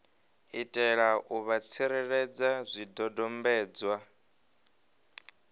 itela u vha tsireledza zwidodombedzwa